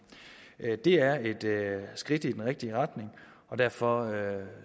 det er et skridt i den rigtige retning derfor